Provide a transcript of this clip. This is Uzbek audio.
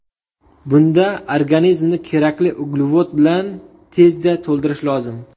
Bunda organizmni kerakli uglevod bilan tezda to‘ldirish lozim.